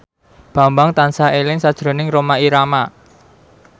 Bambang tansah eling sakjroning Rhoma Irama